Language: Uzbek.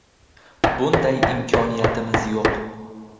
Bunday imkoniyatimiz yo‘q”.